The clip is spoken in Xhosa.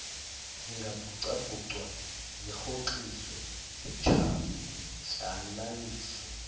zingabhucabhucwa zirhoxiswe zitshatyalaliswe